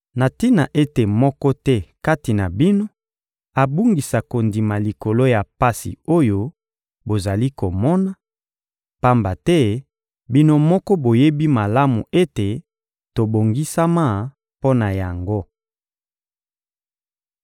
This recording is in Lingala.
na tina ete moko te kati na bino abungisa kondima likolo ya pasi oyo bozali komona; pamba te bino moko boyebi malamu ete tobongisama mpo na yango.